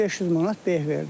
500 manat beh verdim.